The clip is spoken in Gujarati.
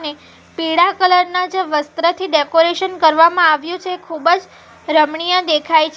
ને પીળા કલર ના જે વસ્ત્રથી ડેકોરેશન કરવામાં આવ્યું છે ખૂબ જ રમણીય દેખાય છે.